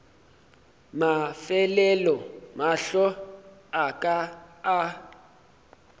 mafelelo mahlo a ka a